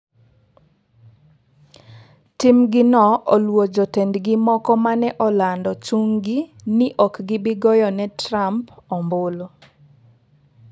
Timgino oluwo jotendgi moko mane olando chung'gi ni ok gibi goyo ne Trump ombulu.